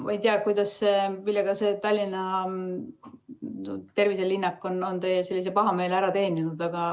Ma ei tea, millega see Tallinna terviselinnak on teie pahameele ära teeninud.